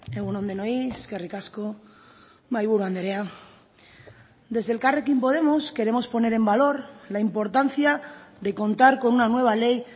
egun on denoi eskerrik asko mahaiburu andrea desde elkarrekin podemos queremos poner en valor la importancia de contar con una nueva ley